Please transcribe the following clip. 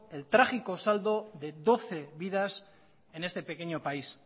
el trágico saldo de doce vidas en este pequeño país